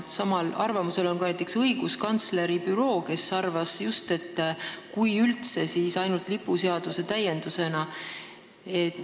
Samal arvamusel on ka näiteks õiguskantsleri büroo, kes arvab, et kui üldse, siis võiks seda reguleerida ainult lipuseaduse täiendusena.